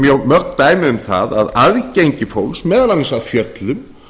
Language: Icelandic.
mjög mörg dæmi um það að aðgengi fólks meðal annars að fjöllum